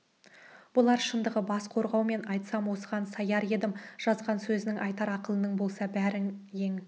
бұлар шындығы бас қорғау мен айтсам осыған саяр едім жазған сөзің айтар ақылың болса бәрін ең